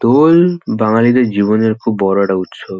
দোল বাঙালিদের জীবনের বড়ো একটা উৎসব।